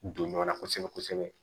Don ɲɔgɔnna kosɛbɛ kosɛbɛ